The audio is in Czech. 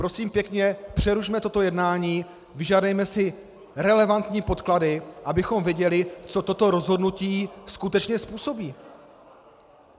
Prosím pěkně, přerušme toto jednání, vyžádejme si relevantní podklady, abychom viděli, co toto rozhodnutí skutečně způsobí.